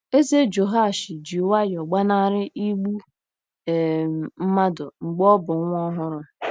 Eze Jehoashi ji nwayọọ gbanarị igbu um mmadụ mgbe ọ bụ nwa ọhụrụ.